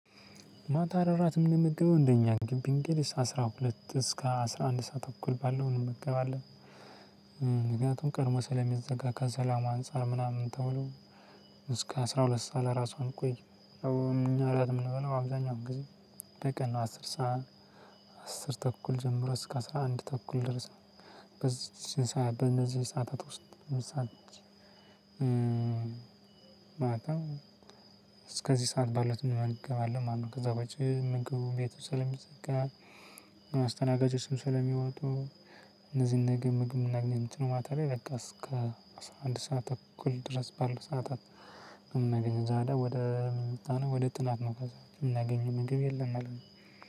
ማታ እራት ምንመገበው እንደኛ ግቢ እንግዲህ እስከ አስራ ሁለት እስከ አስራ አንድ ሰዓት ተኩል ባለው እንመገባለን። ምክንያቱም ቀድሞ ስለሚዘጋ ከሰላም አንፃር ምናምን ተብሎ። እስከ አስራ ሁለት ሰዓት ለራሱ አንቆይም። ያው እኛ እራት የምንበላው አብዛኛው ጊዜ በቀን ነው አስር ሰዓት። አስር ተኩል ጀምሮ እስከ አስራ አንድ ተኩል ድረስ። ነው በእነዚህ ሰዓታት ውስጥ ምሳሌ ማታ እስከዚህ ሰዓት ባሉት እንመገባለን ማለት ነው። ከዛ ውጭ ምግብ ቤቱ ሰለሚዘጋ አስተናጋጆችም ሰለሚወጡ። እነዚህን ነገር ምግብ የምናገኘው ማታ ላይ በቃ እስከ አስራ አንድ ሰዓት ተኩል ድረስ ባለው ሰዓታት። የምናገኘው ዛሬ ወደ ወደ ጥናት ነው ከዛ እምናገኝ ምግብ የለም አለኝ።